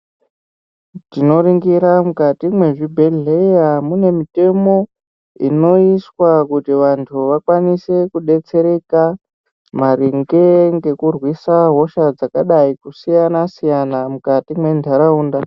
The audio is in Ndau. Tinoringira mwukati mwezvibhledhleya mune mitemo inoiswa kuti vantu vakwanise kudetsereka, maringe ngekurwisa hosha dzakadai kusiyana-siyana mukati mwentaraunda.